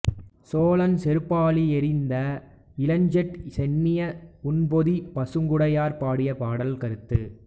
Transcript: சோழன் செருப்பாழி எறிந்த இளஞ்சேட் சென்னியை ஊன்பொதி பசுங் குடையார் பாடிய பாடல் கருத்து